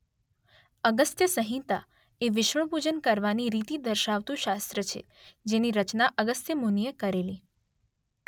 અગસ્ત્યસંહિતા એ વિષ્ણુ પૂજન કરવાની રીતિ દર્શાવતું શાસ્ત્ર છે જેની રચના અગસ્ત્ય મુનિએ કરેલી.